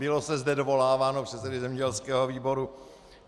Bylo se zde dovoláváno předsedy zemědělského výboru.